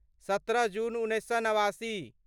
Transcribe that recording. सत्रह जून उन्नैस सए नवासी